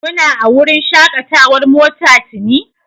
Kuna a wurin shakatawar mota tuni)?